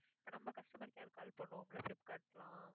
இப்ப நாம customer care call பண்ணுவோம்ல flipkart குலாம்